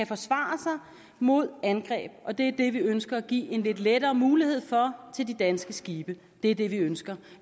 forsvare sig mod angreb og det er det vi ønsker at give en lidt lettere mulighed for til de danske skibe det er det vi ønsker